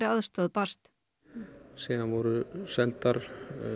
aðstoð barst síðan voru sendar